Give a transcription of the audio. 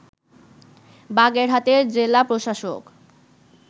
বাগেরহাটের জেলা প্রশাসক